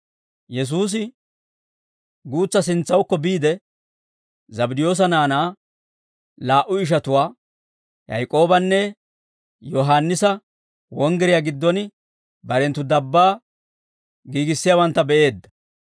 Yesuusi guutsaa sintsawukko biide, Zabddiyoosa naanaa laa"u ishatuwaa, Yaak'oobanne Yohaannisa wonggiriyaa giddon barenttu dabbaa giigissiyaawantta be'eedda.